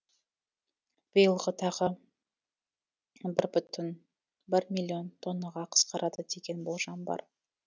биылғы тағы бір бүтін оннан бір миллион тоннаға қысқарады деген болжам бар